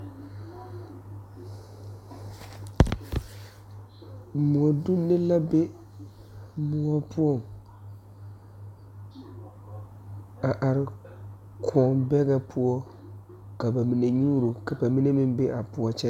Mɔdonne la be moɔ poɔ a are kõɔ dɛgɛ poɔ ka ba mine nyuuro.